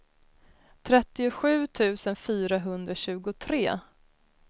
trettiosju tusen fyrahundratjugotre